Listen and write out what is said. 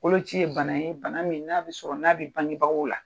Koloci ye bana ye bana min n'a bi sɔrɔ n'a bi bangebagaw la.